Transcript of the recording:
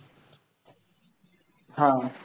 आह